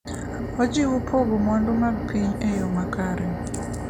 ojiwo pogo mwandu mag piny e yo makare.